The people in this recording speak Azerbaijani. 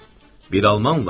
Bir almanla?